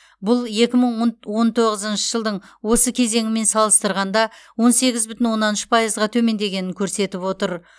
бұл екі мың онт он тоғызыншы жылдың осы кезеңімен салыстырғанда он сегіз бүтін оннан үш пайызға төмендегенін көрсетіп отыр